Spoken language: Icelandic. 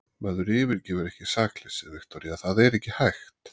Maður yfirgefur ekki sakleysið, Viktoría, það er ekki hægt.